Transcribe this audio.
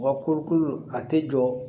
Wa kolokolo a tɛ jɔ